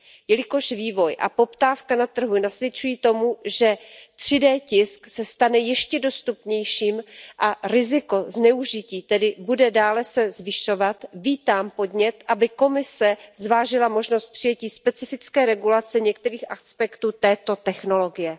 Jelikož vývoj a poptávka na trhu nasvědčují tomu, že 3D tisk se stane ještě dostupnějším a riziko zneužití tedy bude dále se zvyšovat, vítám podnět, aby Komise zvážila možnost přijetí specifické regulace některých aspektů této technologie.